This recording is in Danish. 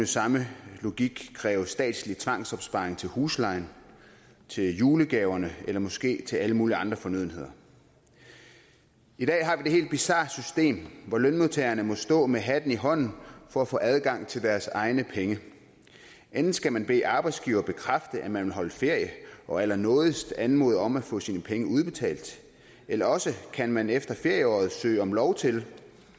samme logik kræve statslig tvangsopsparing til huslejen til julegaverne eller måske til alle mulige andre fornødenheder i dag har vi et helt bizart system hvor lønmodtagerne må stå med hatten i hånden for at få adgang til deres egne penge enten skal man bede arbejdsgiveren bekræfte at man vil holde ferie og allernådigst anmode om at få sine penge udbetalt eller også kan man efter ferieåret søge om lov til